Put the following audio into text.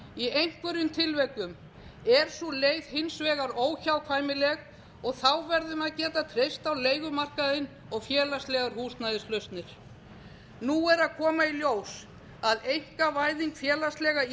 í einhverjum tilvikum er sú leið hins vegar óhjákvæmileg og þá verðum við að geta treyst á leigumarkaðinn og félagslegar húsnæðislausnir nú er að koma í ljós að einkavæðing félagslega